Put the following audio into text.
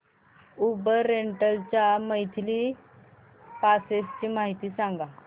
Uber rental च्या monthly passes ची माहिती सांग